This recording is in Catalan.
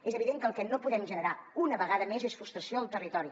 és evident que el que no podem generar una vegada més és frustració al territori